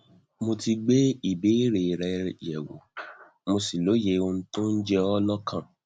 mo ti gbé ìbéèrè rẹ yẹwò mo sì lóye ohun tó ń jẹ ọ lọkàn